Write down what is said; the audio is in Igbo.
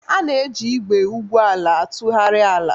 A na-eji igwe igwu ala na-atụgharị ala.